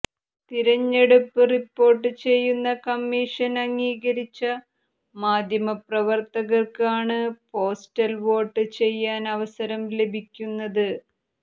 തിരഞ്ഞെടുപ്പ് റിപ്പോർട്ട് ചെയ്യുന്ന കമ്മീഷൻ അംഗീകരിച്ച മാധ്യമപ്രവർത്തകർക്ക് ആണ് പോസ്റ്റൽ വോട്ട് ചെയ്യാൻ അവസരം ലഭിക്കുന്നത്